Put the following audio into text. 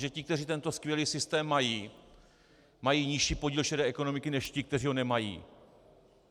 Že ti, kteří tento skvělý systém mají, mají nižší podíl šedé ekonomiky než ti, kteří ho nemají?